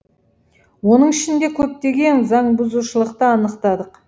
оның ішінде көптеген заңбұзушылықты анықтадық